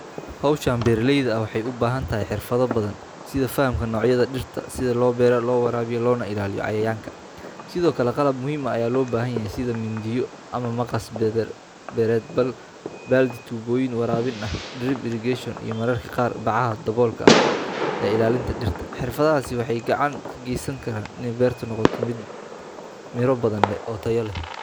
Hawshan beeraleyda ah waxay u baahan tahay xirfado badan sida fahamka noocyada dhirta, sida loo beero, loo waraabiyo, loona ilaaliyo cayayaanka. Sidoo kale, qalab muhiim ah ayaa loo baahan yahay sida mindiyo ama maqas beereed, baaldi, tuubbooyin waraabin ah drip irrigation, iyo mararka qaar bacaha daboolka ah ee ilaalinta dhirta. Xirfadahaasi waxay gacan ka geystaan in beertu noqoto mid miro badan leh oo tayo leh.